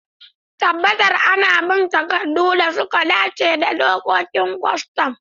Tabbatar ana bin takaddun da suka dace da dokokin kwastam.